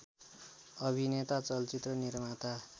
अभिनेता चलचित्र निर्माता